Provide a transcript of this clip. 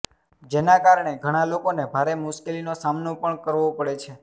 જેના કારણે ઘણા લોકોને ભારે મુશ્કેલીનો સામનો પણ કરવો પડે છે